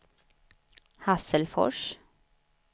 Hasselfors